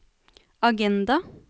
agenda